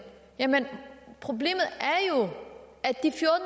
jamen problemet